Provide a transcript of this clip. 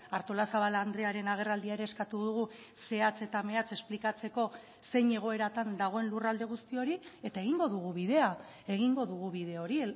artolazabal andrearen agerraldia ere eskatu dugu zehatz eta mehatz esplikatzeko zein egoeratan dagoen lurralde guzti hori eta egingo dugu bidea egingo dugu bide hori